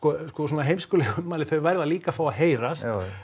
sko svona heimskulega ummæli þau verða líka að fá að heyrast